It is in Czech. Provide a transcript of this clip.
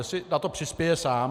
Jestli na to přispěje sám?